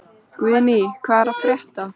Guðný, hvað er að frétta?